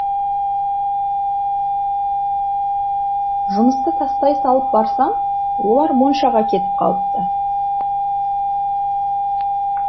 жұмысты тастай салып барсам олар моншаға кетіп қалыпты